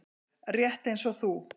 Rétt eins og þú.